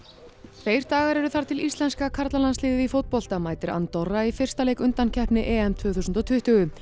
tveir dagar eru þar til íslenska karlalandsliðið í fótbolta mætir Andorra í fyrsta leik undankeppni EM tvö þúsund og tuttugu